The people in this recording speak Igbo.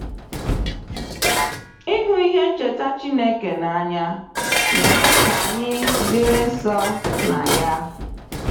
Ịhụ ihe ncheta Chineke n’anya na-eme ka anyị dịrị nso na ya.